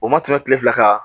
O ma tɛmɛ kile fila kan